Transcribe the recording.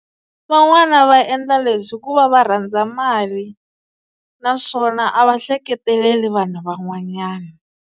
Van'wana va endla leswi hikuva va rhandza mali naswona a va ehleketeleli vanhu van'wanyana.